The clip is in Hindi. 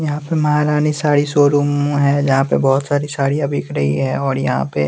यहां पे महारानी साड़ी शोरूम है जहां पे बहोत सारी साड़ियां बिक रही हैं और यहां पे--